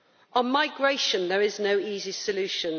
On migration there is no easy solution.